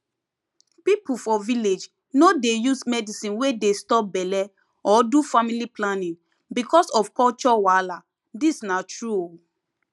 people for village no dey use medicine wey dey stop belle or do family planning because of culture wahala this na true o